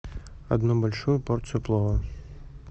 одну большую порцию плова